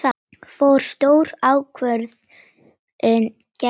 Fór stór ákvörðun gegn okkur?